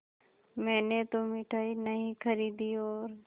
मैंने तो मिठाई नहीं खरीदी और